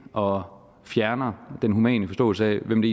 og fjerner den humane forståelse af hvem det